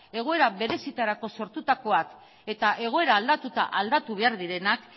egoera berezietarako sortutakoak eta egoera aldatuta aldatu behar direnak